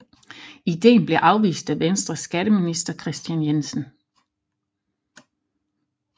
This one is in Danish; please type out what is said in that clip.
Ideen blev afvist af Venstres skatteminister Kristian Jensen